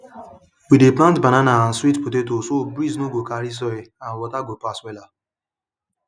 we dey plant banana and sweet potato so breeze nor go carry soil and water go pass wella